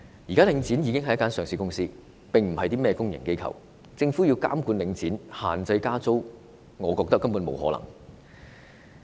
現時領展是上市公司，而非公營機構，政府要監管領展，限制加租，我認為根本是不可能的。